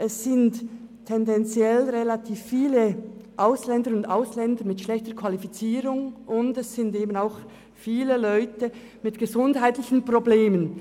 Es gibt tendenziell relativ viele Ausländerinnen und Ausländer mit schlechter Qualifizierung, und es sind auch viele Leute mit gesundheitlichen Problemen.